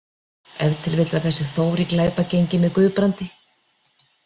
Ef til vill var þessi Þór í glæpagengi með Guðbrandi.